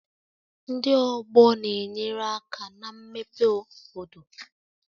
Ndị ọgbọ na-enyere aka na mmepe obodo